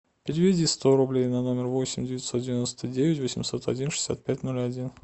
переведи сто рублей на номер восемь девятьсот девяносто девять восемьсот один шестьдесят пять ноль один